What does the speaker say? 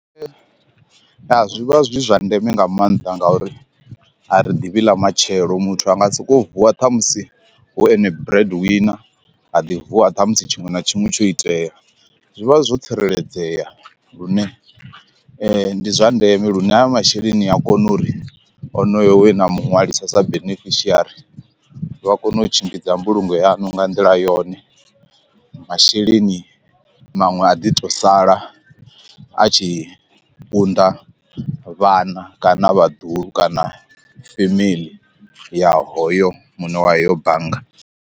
Ya zwivha zwi zwa ndeme nga maanḓa ngauri a ri ḓivhi ḽa matshelo muthu anga soko vuwa ṱhamusi hu ene bread wina a ḓi vuwa ṱhamusi tshiṅwe na tshiṅwe tsho itea, zwi vha zwo tsireledzea lune ndi zwa ndeme lune ha masheleni a kona uri onoyo we na muṅwalisa sa beneficiary vha kone u tshimbidza mbulungo yanu nga nḓila yone masheleni maṅwe a ḓi to sala a tshi unḓa vhana kana vhaḓuhulu kana family ya hoyo muṋe wa heyo bannga.